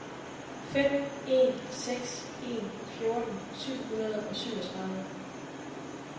fem en seks en fjorten syv hundrede og syvogtredive